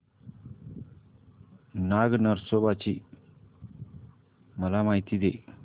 नाग नरसोबा ची मला माहिती दे